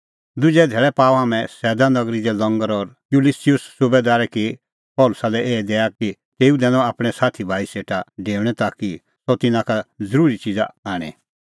दुजै धैल़ै पाअ हाम्हैं सैदा नगरी दी लंगर और युलियुस सुबैदारै की पल़सी लै एही दैआ कि तेऊ दैनअ आपणैं साथी भाई सेटा डेऊणैं ताकि सह तिन्नां का ज़रूतीए च़िज़ा आणै